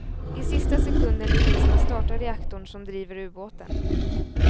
I sista sekunden lyckades man starta reaktorn som driver ubåten.